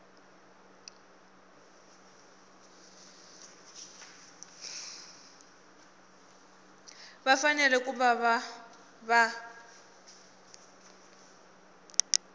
va fanele ku va va